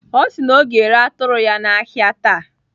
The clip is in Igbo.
Ọ sị na ọ ga-ere atụrụ ya n'ahịa taa.